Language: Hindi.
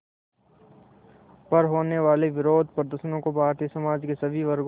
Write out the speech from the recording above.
पर होने वाले विरोधप्रदर्शनों को भारतीय समाज के सभी वर्गों